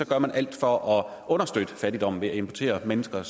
gør man alt for at understøtte fattigdommen ved at importere mennesker